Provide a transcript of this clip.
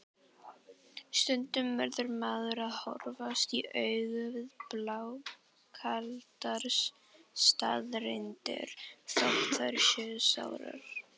Stundum verður maður að horfast í augu við blákaldar staðreyndir, þótt þær séu sárar.